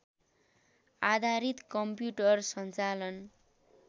आधारित कम्प्युटर सञ्चालन